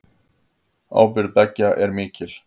Ábyrgð beggja sé mikil.